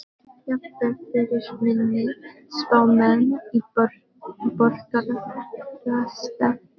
Jafnvel fyrir minni spámenn í borgarastétt.